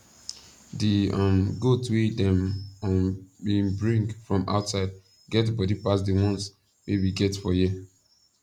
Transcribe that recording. di um goat wey dem um been bring from outside get body pass di once wey we get for here